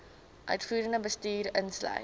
uitvoerende bestuur insluit